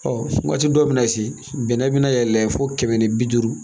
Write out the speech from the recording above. Ɔ waati dɔw bɛ na se bɛnɛ bɛna yɛlɛn fo kɛmɛ ni bi duuru